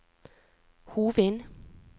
Hovin